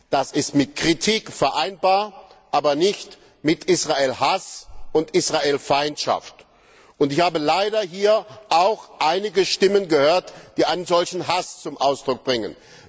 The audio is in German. Das ist mit Kritik vereinbar, aber nicht mit Israel Hass und Israel Feindschaft. Ich habe hier leider auch einige Stimmen gehört, die einen solchen Hass zum Ausdruck bringen.